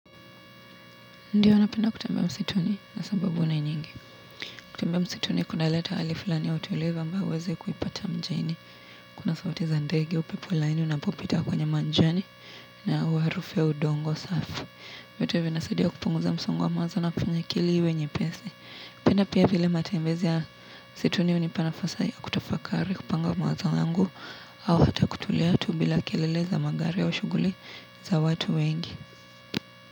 Ndiyo napenda kutembea msituni na sababu ni nyingi. Kutembea msituni kunaleta hali fulani ya utulivu ambayo huwezi kuipata mjini. Kuna sauti za ndege upepo laini unapopita kwenye manjani na uwarufu wa udongo safi. Vitu vinasidia kupunguza msongo mawazo na kufanya akili iwe nyepesi. Kupenda pia vile matembezi ya msituni hunipa nafasi ya kutafakari kupanga mawazo yangu au hata kutulia tu bila kelele za magari au shuguli za watu wengi.